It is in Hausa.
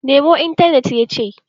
Nemo intanet, ya ce!